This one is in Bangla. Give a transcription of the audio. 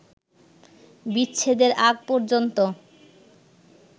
বিচ্ছেদের আগ পর্যন্ত